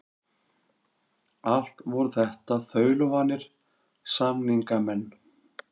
Allt voru þetta þaulvanir samningamenn.